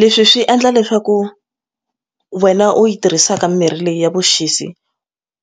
Leswi swi endla leswaku wena u yi tirhisaka mirhi leyi ya vuxisi